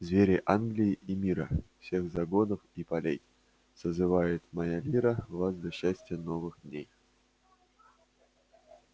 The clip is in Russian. звери англии и мира всех загонов и полей созывает моя лира вас для счастья новых дней